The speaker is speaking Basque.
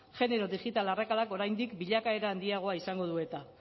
genero digital arrakalak oraindik bilakaera handiagoa izango du eta